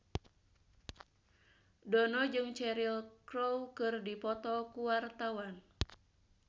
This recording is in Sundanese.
Dono jeung Cheryl Crow keur dipoto ku wartawan